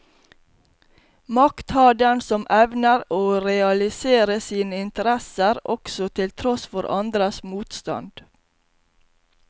Makt har den som evner å realisere sine interesser, også til tross for andres motstand.